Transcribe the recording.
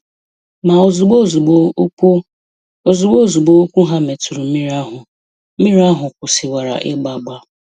Ma ozugbo ozugbo ụkwụ ozugbo ozugbo ụkwụ ha metụrụ mmiri ahụ, mmiri ahụ kwụsịwara ịgba agba.